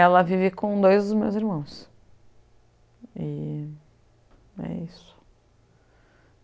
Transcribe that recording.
Ela vive com dois dos meus irmãos. E é isso